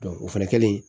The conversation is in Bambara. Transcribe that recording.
o fɛnɛ kɛlen